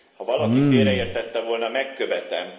Ha valaki félreértette volna, megkövetem.